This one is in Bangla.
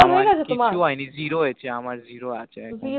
কিছু আই নি zero হয়েছে আমার Zero আছে